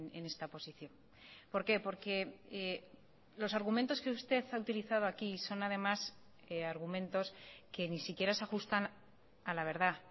en esta posición por qué porque los argumentos que usted ha utilizado aquí son además argumentos que ni siquiera se ajustan a la verdad